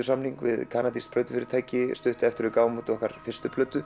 samning við kanadískt plötufyrirtæki stuttu eftir að við gáfum út okkar fyrstu plötu